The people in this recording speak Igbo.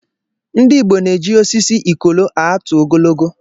Ndị Igbo na-eji osisi ikolo" atụ ogologo."